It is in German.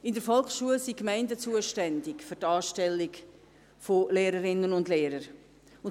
In der Volksschule sind die Gemeinden für die Anstellung von Lehrerinnen und Lehrern zuständig.